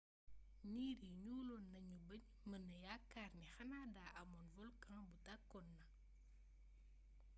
niir yi ñuuloon nañu ba ñu mëna yaakaar ni xanaa daa amoon volkan bu tàkkoon na